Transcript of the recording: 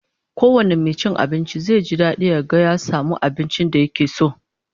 Kowane mai cin abinci zai ji dadi ya ga ya samu abincin da yake so